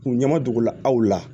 Kun ɲama dogola aw la